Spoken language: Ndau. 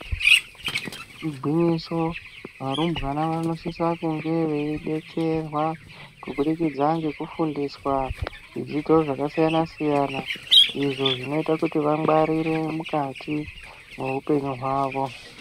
Igwinyiso varumbwana vanosisa kunge veidetserwa kubudikidza ngekufundiswa zvidzidzo zvakasiyana-siyana izvo zvinoita kuti vangwarire mukati mehupenyu hwavo.